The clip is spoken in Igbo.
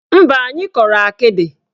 Mba, anyị kọrọ akịdị.